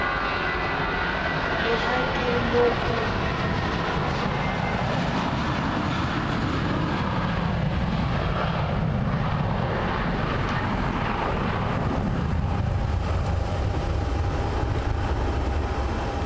re ha ke no o